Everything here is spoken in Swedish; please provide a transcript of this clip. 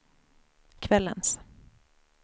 kvällens